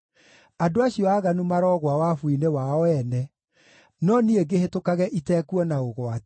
Andũ acio aaganu maroogwa wabu-inĩ wao ene, no niĩ ngĩhĩtũkage itekuona ũgwati.